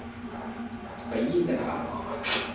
அது spy இல்லடா அவங்க ஆளு